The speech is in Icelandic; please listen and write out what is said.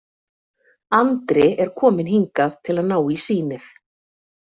Andri er kominn hingað til að ná í sýnið.